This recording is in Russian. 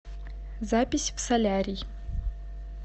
запись в солярий